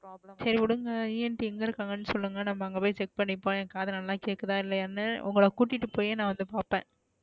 சரி விடுங்க ent எங்க இருகங்கனு சொலுங்க நம்ம அங்க போய் check பண்ணிப்போம் என் காது நல்லா கேக்குதா இல்லையானு உங்கள குட்டிட்டு பொய்யே ந பாப்பேன்,